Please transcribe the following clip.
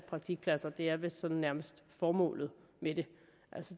praktikpladser det er vist sådan nærmest formålet med det